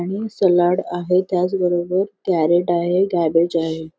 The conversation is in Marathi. आणि सॅलड आहे त्याच बरोबर कॅरट आहे क्याबेज आहे.